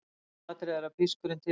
Lykilatriði er að pískurinn titri.